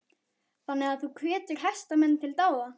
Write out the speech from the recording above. Þannig að þú hvetur hestamenn til dáða?